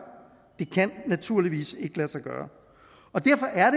det kan naturligvis ikke lade sig gøre og derfor er